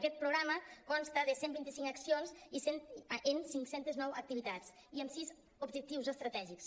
aquest programa consta de cent vint i cinc accions en cinc centes nou activitats i amb sis objectius estratègics